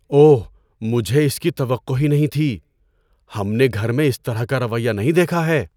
اوہ، مجھے اس کی توقع ہی نہیں تھی۔ ہم نے گھر میں اس طرح کا رویہ نہیں دیکھا ہے۔